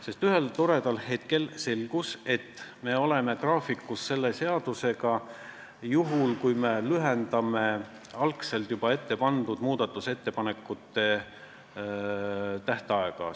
Sest ühel toredal hetkel selgus, et me oleme graafikus selle seadusega juhul, kui me lühendame algselt ette pandud muudatusettepanekute tähtaega.